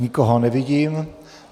Nikoho nevidím.